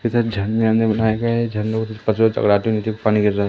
इधर झरने वारने बनाए गए है झरने नीचे पानी गिर रहा है।